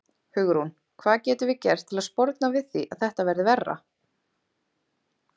Hugrún: Hvað getum við gert til að sporna við því að þetta verði verra?